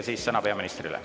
Ja siis sõna peaministrile.